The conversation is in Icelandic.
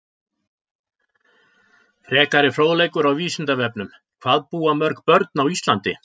Frekari fróðleikur á Vísindavefnum: Hvað búa mörg börn á Íslandi?